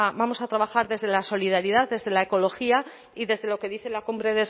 vamos a trabajar desde la solidaridad desde la ecología y desde lo que dice la cumbre